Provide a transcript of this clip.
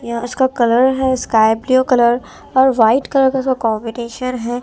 यहां उसका कलर है स्काई ब्लू कलर और वाइट कलर का कॉम्बिनेशन है।